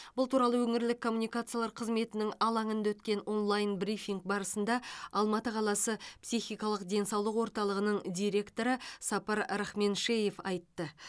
бұл туралы өңірлік коммуникациялар қызметінің алаңында өткен онлайн брифинг барысында алматы қаласы психикалық денсаулық орталығының директоры сапар рахменшеев айтты